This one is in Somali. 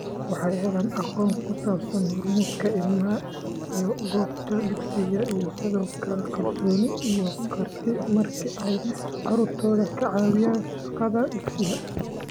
Waxay helaan aqoon ku saabsan horumarka ilmaha ee goobta dugsiga, iyo sidoo kale kalsooni iyo karti marka ay carruurtooda ka caawiyaan shaqada dugsiga.